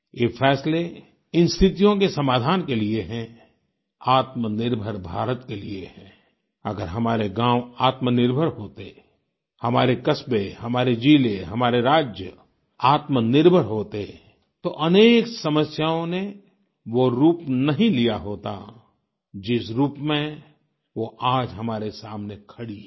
ये फैसले इन स्थितियों के समाधान के लिए हैं आत्मनिर्भर भारत के लिए हैं अगर हमारे गाँव आत्मनिर्भर होते हमारे कस्बे हमारे जिले हमारे राज्य आत्मनिर्भर होते तो अनेक समस्याओं ने वो रूप नहीं लिया होता जिस रूप में वो आज हमारे सामने खड़ी हैं